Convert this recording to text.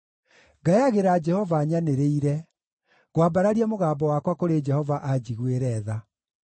Ngayagĩra Jehova nyanĩrĩire; ngwambararia mũgambo wakwa kũrĩ Jehova anjiguĩre tha.